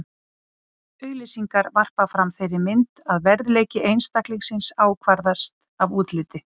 Auglýsingar varpa fram þeirri mynd að verðleiki einstaklingsins ákvarðist af útliti.